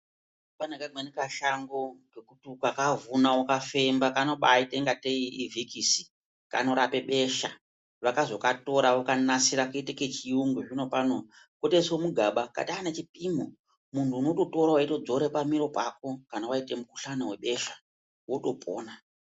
Pane kamweni kashango kekuti ukakavhuna ukakafemba kanombaita ngate ivhikisi kanorape beshe vakazokatora vokanasire koite kechiyungu zvinopano kotoise mugaba katova nechipimo, muntu unototora weitodzore pamiro pako, kana waite mukhuhlani webesha wotopona.